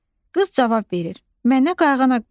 Qız cavab verir: Mənə qayğanaq bişir.